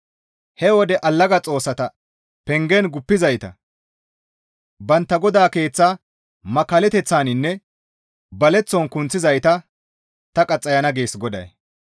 He wode allaga xoossata pengen guppizayta, bantta godata keeththaa makkallateththaninne baleththon kunththizayta ta qaxxayana» gees GODAY.